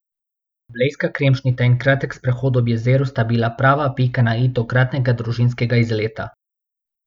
Blejska kremšnita in kratek sprehod ob jezeru sta bila prava pika na i tokratnega družinskega izleta.